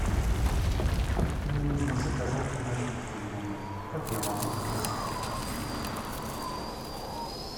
мне нужно заказать напитки в номер как я могу это сделать